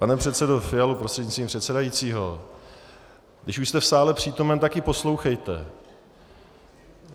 Pane předsedo Fialo prostřednictvím předsedajícího, když už jste v sále přítomen, tak i poslouchejte.